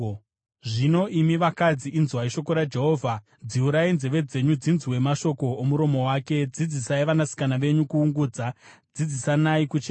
Zvino, imi vakadzi, inzwai shoko raJehovha; dziurai nzeve dzenyu dzinzwe mashoko omuromo wake. Dzidzisai vanasikana venyu kuungudza; dzidzisanai kuchema.